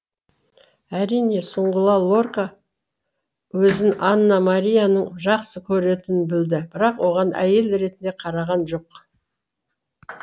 әрине сұңғыла лорка өзін ана марияның жақсы көретінін білді бірақ оған әйел ретінде қараған жоқ